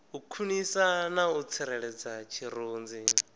khwinisa na u tsireledza tshirunzi